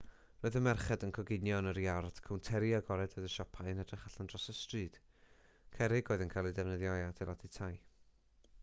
roedd y merched yn coginio yn yr iard cownteri agored oedd y siopau yn edrych allan dros y stryd cerrig oedd yn cael eu defnyddio i adeiladu tai